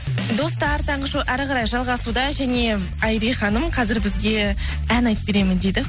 достар таңғы шоу әрі қарай жалғасуда және айри ханым қазір бізге ән айтып беремін дейді